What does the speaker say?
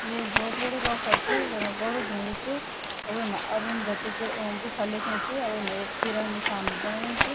यु ऐक भौत बडू रोखड़ च वेमा बडू ढुंगू च वेमा अरुंधती गुफा लिख्यू च वेमा ऐक तीराक निसान बणायु च।